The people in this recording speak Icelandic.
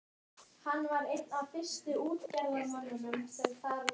Þú ert líkari þessu málverki en hann.